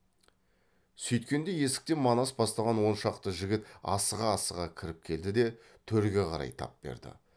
сүйткенде есіктен манас бастаған он шақты жігіт асыға асыға кіріп келді де төрге қарай тап берді